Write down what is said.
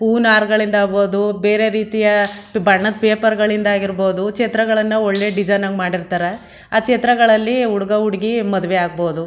ಹೂವ್ನಾರ್ ಗಳಿಂದ ಹಾಗಬಹುದು ಬೇರೆ ರೀತಿಯ ಬಣ್ಣದ್ ಪೇಪರ್ ಗಳಿಂದಾಗಿರ್ಬೋದು ಛತ್ರಗಳನ್ನೂ ಒಳ್ಳೆ ಡಿಸೈನಗ್ ಮಾಡಿರ್ತಾರೆ ಆ ಛತ್ರಗಳಲ್ಲಿ ಹುಡ್ಗ ಹುಡ್ಗಿ ಮದುವೆ ಆಗಬಹುದು.